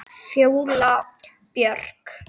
Fjóla Björk.